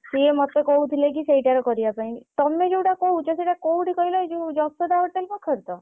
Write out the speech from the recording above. ସିଏ ମତେ କହୁଥିଲେ କି ସେଇଟାରେ କରିବା ପାଇଁ ତମେ ଯୋଉଟା କହୁଛ ସେଇଟା କୋଉଠି କହିଲ ଏଇ ଯୋଉ ଯଶୋଦା hotel ପାଖରେ ତ?